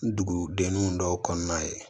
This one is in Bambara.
N dugudenninw dɔw kɔnɔna ye